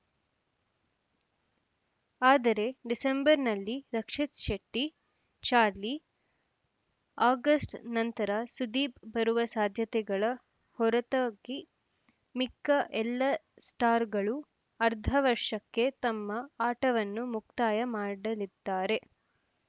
ಆದರೆ ಡಿಸೆಂಬರ್‌ನಲ್ಲಿ ರಕ್ಷಿತ್‌ ಶೆಟ್ಟಿಚಾರ್ಲಿ ಆಗಸ್ಟ್‌ ನಂತರ ಸುದೀಪ್‌ ಬರುವ ಸಾಧ್ಯತೆಗಳ ಹೊರತಾಗಿ ಮಿಕ್ಕ ಎಲ್ಲ ಸ್ಟಾರ್‌ಗಳು ಅರ್ಧ ವರ್ಷಕ್ಕೆ ತಮ್ಮ ಆಟವನ್ನು ಮುಕ್ತಾಯ ಮಾಡಲಿದ್ದಾರೆ